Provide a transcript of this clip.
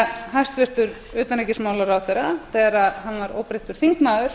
hæstvirtur utanríkisráðherra þegar hann var óbreyttur þingmaður